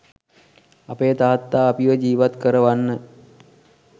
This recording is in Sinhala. අපේ තාත්තා අපිව ජීවත් කරවන්න